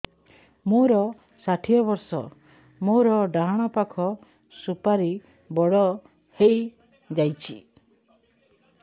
ମୋର ଷାଠିଏ ବର୍ଷ ମୋର ଡାହାଣ ପାଖ ସୁପାରୀ ବଡ ହୈ ଯାଇଛ